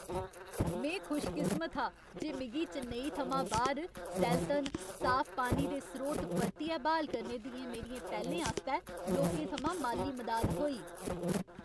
में खुशकिस्मत हा जे मिगी चेन्नई थमां बाह्र सैलतन, साफ पानी दे स्रोत परतियै ब्हाल करने दियें मेरियें पैह्लें आस्तै लोकें थमां माल्ली मदाद थ्होई।